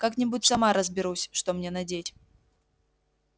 как-нибудь сама разберусь что мне надеть